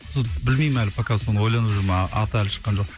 білмеймін әлі пока соны ойланып жүрмін а аты әлі шыққан жоқ